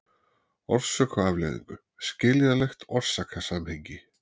orsök og afleiðingu, skiljanlegt orsakasamhengi.